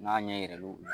N'a ɲɛ yɛlɛ l'o la